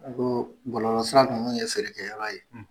N Ko bɔlɔlɔ sira ninnu ye ferekɛ yɔrɔ ye